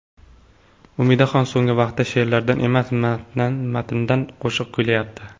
Umidaxon so‘nggi vaqtda she’rlardan emas, matndan qo‘shiq kuylayapti.